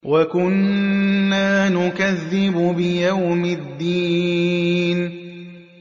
وَكُنَّا نُكَذِّبُ بِيَوْمِ الدِّينِ